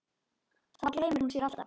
Þá gleymir hún sér alltaf.